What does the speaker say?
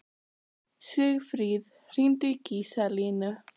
Sigfríð, hringdu í Gíslalínu.